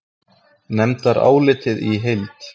Nefndarálitið í heild